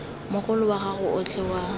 mogolo wa gago otlhe wa